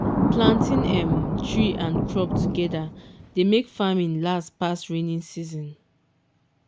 planting um tree and crop together dey make farming last pass rainy season.